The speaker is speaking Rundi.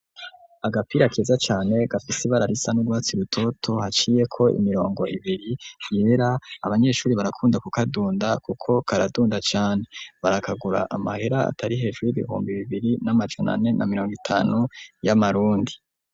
Agapira keza cane gafise ibara risa n'urwatsi rutoto haciyeko imirongo ibiri yera, abanyeshuri barakunda kukadunda kuko karadunda cane. Barakagura amahera atari hejuru y'ibihumbi bibiri n'amajana ane na mirongo itanu y'amarundi.